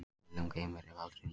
Illum geymir, ef aldrei nýtur.